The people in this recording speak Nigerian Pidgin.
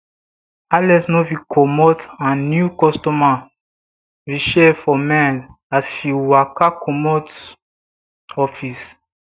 alex no fit comot her new customer rachel for her mind as as she waka comot office